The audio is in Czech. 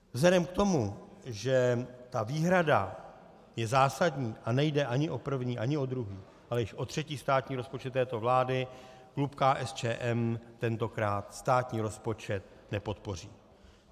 Vzhledem k tomu, že ta výhrada je zásadní a nejde ani o první ani o druhý, ale již o třetí státní rozpočet této vlády, klub KSČM tentokrát státní rozpočet nepodpoří.